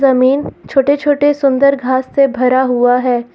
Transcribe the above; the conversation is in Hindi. जमीन छोटे छोटे सुंदर घास से भरा हुआ है।